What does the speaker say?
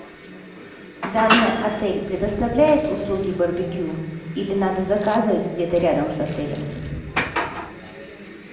данный отель предоставляет услуги барбекю или надо заказывать где то рядом с отелем